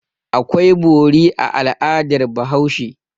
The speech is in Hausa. Akwai bori a al'adar Bahaushe.